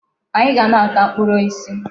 Anyị ga na-ata mkpụrụ osisi.